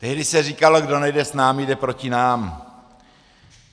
Tehdy se říkalo: kdo nejde s námi, jde proti nám.